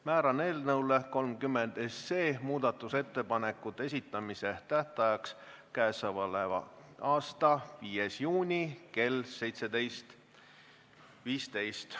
Määran muudatusettepanekute esitamise tähtajaks k.a 5. juuni kell 17.15.